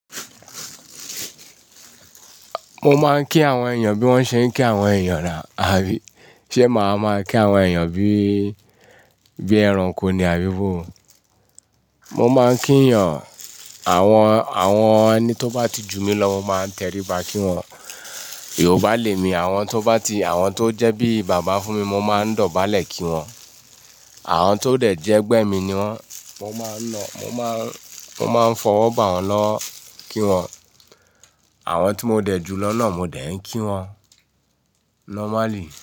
Mo máa ń kí àwọn èèyàn bí wọ́n ṣe ń kí àwọn èèyàn nà. Àbí ṣe màá máa kí àwọn èèyàn bí, bí ẹranko ni àbí bó? Mo máa ń kí èèyàn, àwọn, àwọn ẹni tó bá ti jù mí lọ mo máa ń tẹríba kí wọn. Yorùbá lè mi àwọn tó bá ti, àwọn tó jẹ́ bí bàbá fún mi mo máa ń dọ̀bálẹ̀ kí wọn. Àwọn tó dẹ̀ jẹ́ ẹgbẹ́ mi ni wọ́n, mo máa ń lọ, mo máa ń, mo máa ń fọwọ́ bà wọ́n lọ kí wọn. Àwọn tí mo dẹ̀ jù lọ náà mo dẹ̀ ń kí wọn normally.